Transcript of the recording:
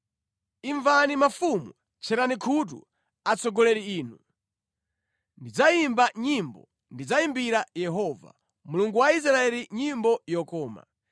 “Imvani inu mafumu! Tcherani khutu, atsogoleri inu! Ndidzayimba nyimbo, ndidzayimbira Yehova, Mulungu wa Israeli nyimbo yokoma.